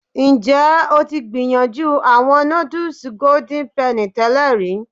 Njẹ o ti gbiyanju awọn nudus Golden Penny tẹlẹ ri?